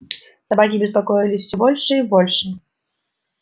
собаки беспокоились всё больше и больше